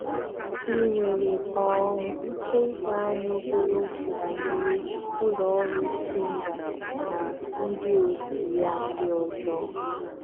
Ị nwere um ike ị gwa anyị obere okwu banyere ụlọ ọrụ Simba na ndị otú ya ndị ọzọ?.